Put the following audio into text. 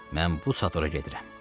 Mən bu sadora gedirəm.